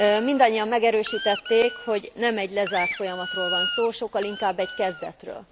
Mindannyian megerősítették, hogy nem egy lezárt folyamatról van szó, sokkal inkább egy kezdetről.